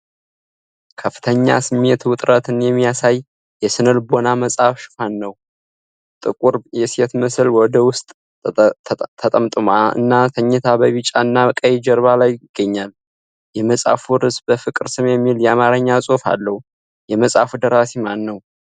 ከፍተኛ የስሜት ውጥረትን የሚያሳይ የስነ ልቦና መጽሐፍ ሽፋን ነው። ጥቁር የሴት ምስል ወደ ውስጥ ተጠምጥማ እና ተኝታ በቢጫና ቀይ ጀርባ ላይ ይገኛል። የመጽሐፉ ርዕስ "በፍቅር ስም" የሚል የአማርኛ ጽሑፍ አለው። የመጽሐፉ ደራሲ ማን ነው?